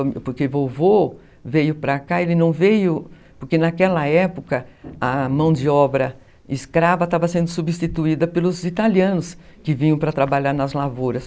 contava. Porque vovô veio para cá, ele não veio porque naquela época a mão de obra escrava estava sendo substituída pelos italianos que vinham para trabalhar nas lavouras.